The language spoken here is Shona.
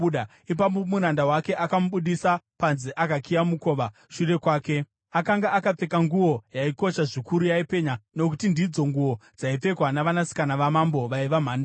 Ipapo muranda wake akamubudisa panze akakiya mukova shure kwake. Akanga akapfeka nguo yaikosha zvikuru yaipenya, nokuti ndidzo nguo dzaipfekwa navanasikana vamambo vaiva mhandara.